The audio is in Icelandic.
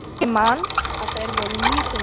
Ég man að þeir voru níðþungir.